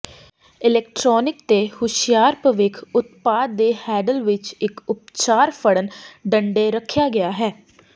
electronic ਤੇ ਹੁਸ਼ਿਆਰ ਭਵਿੱਖ ਉਤਪਾਦ ਦੇ ਹੈਡਲ ਵਿੱਚ ਇੱਕ ਉਪਚਾਰ ਫੜਨ ਡੰਡੇ ਰੱਖਿਆ ਗਿਆ ਹੈ